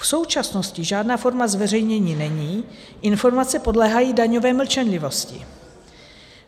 V současnosti žádná forma zveřejnění není, informace podléhají daňové mlčenlivosti.